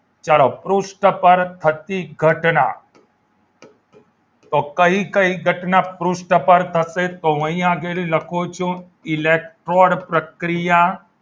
ચાલો પૃષ્ઠ પર થતી ઘટના તો કઈ કઈ ઘટના પૃષ્ઠ પર થાય છે તો અહીં આગળ હું લખું છું ઇલેક્ટ્રોન પ્રક્રિયા